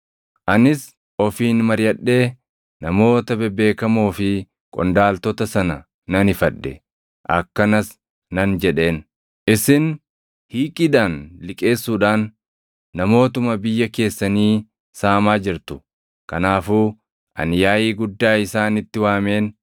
Anis ofiin mariʼadhee namoota bebeekamoo fi qondaaltota sana nan ifadhe; akkanas nan jedheen; “Isin hiiqiidhaan liqeessuudhaan namootuma biyya keessanii saamaa jirtu!” Kanaafuu ani yaaʼii guddaa isaanitti waameen